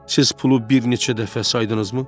Siz pulu bir neçə dəfə saydınızmı?